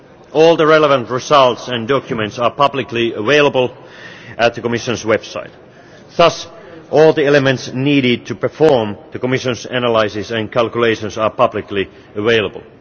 All the relevant results and documents are publicly available on the Commission's website. Thus, all the elements needed to perform the Commission's analysis and calculations are publicly available.